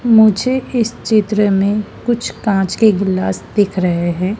मुझे इस चित्र में कुछ कांच के गिलास दिख रहे हैं।